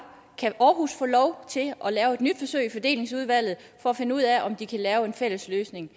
kan aarhus få lov til at lave et nyt forsøg i fordelingsudvalget for at finde ud af om de kan lave en fælles løsning